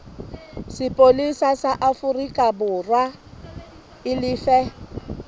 sepolesa sa aforikaborwa e lefe